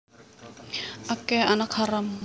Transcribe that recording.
Akeh anak haram